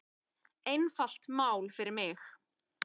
Einfalt mál fyrir mig.